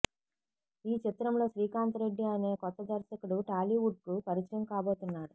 ఈ చిత్రంతో శ్రీకాంత్ రెడ్డి అనే కొత్త దర్శకుడు టాలీవుడ్కు పరిచయం కాబోతున్నాడు